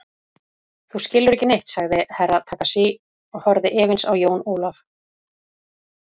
Þú skilur ekki neitt, sagði Herra Takashi og horfði efins á Jón Ólaf.